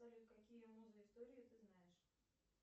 салют какие музы истории ты знаешь